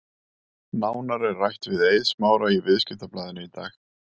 Nánar er rætt við Eið Smára í Viðskiptablaðinu í dag.